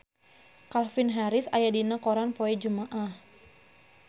Calvin Harris aya dina koran poe Jumaah